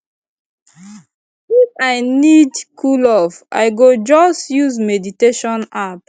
if i need cool off i go just use meditation app